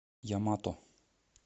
ямато